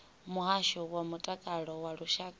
muhasho wa mutakalo wa lushaka